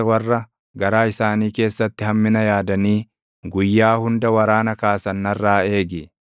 warra garaa isaanii keessatti hammina yaadanii guyyaa hunda waraana kaasan narraa eegi.